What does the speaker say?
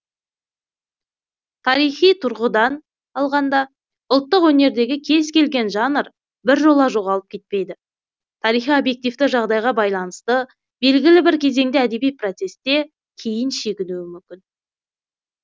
тарихи тұрғыдан алғанда ұлттық өнердегі кез келген жанр біржола жоғалып кетпейді тарихи объективті жағдайға байланысты белгілі бір кезеңде әдеби процесте кейін шегінуі мүмкін